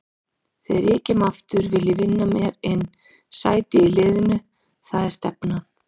Þegar ég kem aftur vil ég vinna mér inn sæti í liðnu, það er stefnan.